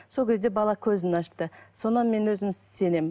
сол кезде бала көзін ашты содан мен өзім сенемін